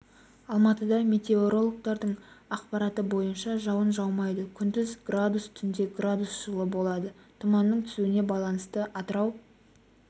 алматыда метеорологтардың ақпараты бойынша жауын жаумайды күндіз градус түнде градус жылы болады тұманның түсуіне байланысты атырау